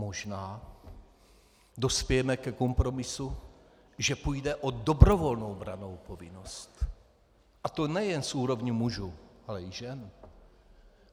Možná dospějeme ke kompromisu, že půjde o dobrovolnou brannou povinnost, a to nejen z úrovně mužů, ale i žen.